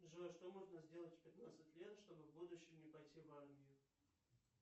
джой что можно сделать в пятнадцать лет чтобы в будущем не пойти в армию